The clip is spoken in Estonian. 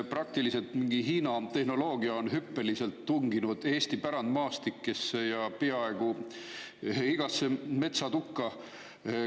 Praktiliselt on mingi Hiina tehnoloogia hüppeliselt tunginud Eesti pärandmaastikesse, peaaegu igasse metsatukka.